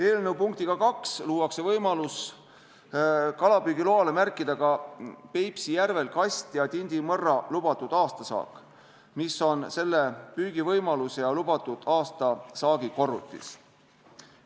Eelnõu punktiga 2 luuakse võimalus kalapüügiloale märkida ka Peipsi järvel kast- ja tindimõrra lubatud aastasaak, mis on selle püügivõimaluse ja lubatud aastasaagi korrutis.